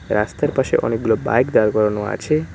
রাস্তার পাশে অনেকগুলো বাইক দাঁড় করানো আছে।